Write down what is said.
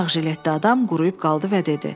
Ağ jiletdə adam quruyub qaldı və dedi: